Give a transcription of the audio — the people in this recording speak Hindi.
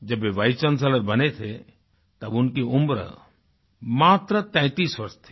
जब वे वाइस चांसेलर बने थे तब उनकी उम्र मात्र 33 वर्ष थी